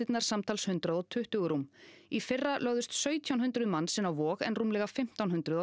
samtals hundrað og tuttugu rúm í fyrra lögðust sautján hundruð manns inn á Vog en rúmlega fimmtán hundruð á